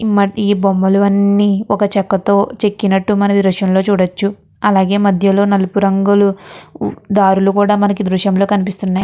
ఈ బొమ్మలు అన్నీ ఒక చెక్కతో చెక్కినట్టు మనం ఈ దృశ్యం లో చూడచ్చు. అలాగే నలుపు రంగు దారులు కూడా మనకి ఈ దృశ్యం లో కనిపిస్తున్నాయి.